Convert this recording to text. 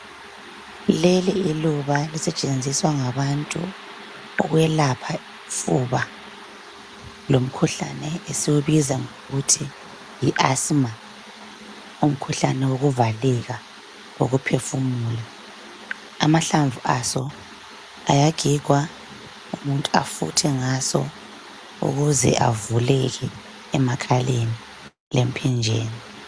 Leli iluba elisetshenziswa ngabantu ukwelapha ufuba. Lomkhuhlane lo esiwubiza ngokuthi yi- asma. Umkhuhlane wokuvaleka ukuphefumula. Amahlamvu aso ayagigwa, umuntu afuthe ngaso. Ukuze avuleke emakhaleni, lemphinjeni.